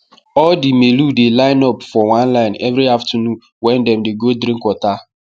all the melu dey line up for one line every afternoon wen dem dey go drink water